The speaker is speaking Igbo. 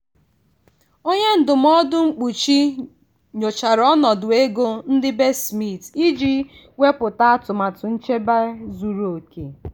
onye ndụmọdụ mkpuchi nyochara ọnọdụ ego ndị be smith iji wepụta atụmatụ nchebe zuru oke.